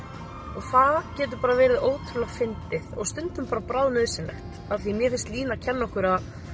og það getur bara verið ótrúlega fyndið og stundum bráðnauðsynlegt af því að mér finnst Lína kenna okkur